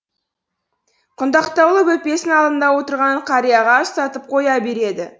құндақтаулы бөпесін алдында отырған қарияға ұстатып қоя береді